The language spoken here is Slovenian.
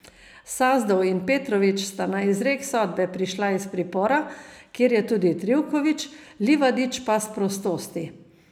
Sazdov in Petrović sta na izrek sodbe prišla iz pripora, kjer je tudi Trivković, Livadić pa s prostosti.